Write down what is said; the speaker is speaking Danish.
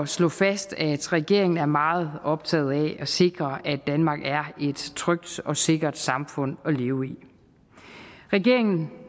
slå fast at regeringen er meget optaget af at sikre at danmark er et trygt og sikkert samfund at leve i regeringen